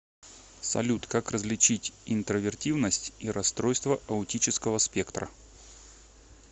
салют как различить интровертивность и расстройство аутического спектра